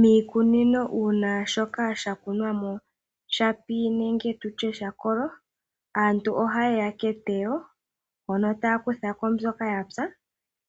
Miikunino uuna shoka shakunwamo shapi nenge tutye sha kolo aantu ohayeya keteyo mono taakuthako mbyoka yapya